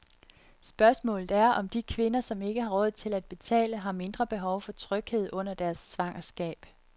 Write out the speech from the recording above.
Spørgsmålet er, om de kvinder, som ikke har råd til at betale, har mindre behov for tryghed under deres svangerskab.